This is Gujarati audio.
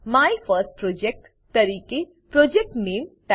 માયફર્સ્ટપ્રોજેક્ટ તરીકે પ્રોજેક્ટ નામે પ્રોજેક્ટ નેમ ટાઈપ કરો